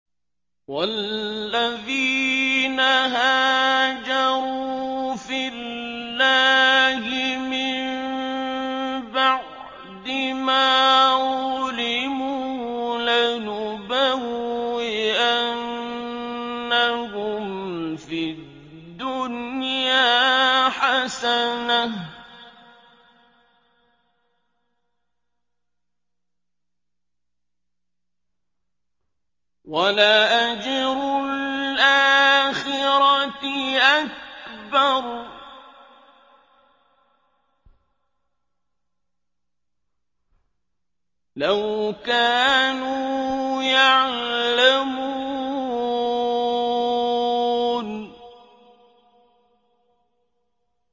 وَالَّذِينَ هَاجَرُوا فِي اللَّهِ مِن بَعْدِ مَا ظُلِمُوا لَنُبَوِّئَنَّهُمْ فِي الدُّنْيَا حَسَنَةً ۖ وَلَأَجْرُ الْآخِرَةِ أَكْبَرُ ۚ لَوْ كَانُوا يَعْلَمُونَ